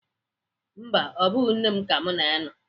Mba, ọ bụghị nne m ka mụ na ya nọ.